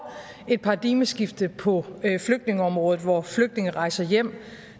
et paradigmeskifte på flygtningeområdet hvor flygtninge rejser hjem